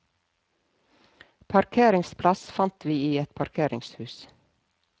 Parkeringsplass fant vi i et parkeringshus.